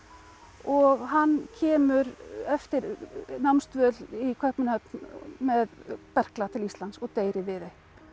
og hann kemur eftir námsdvöl í Kaupmannahöfn með berkla til Íslands og deyr í Viðey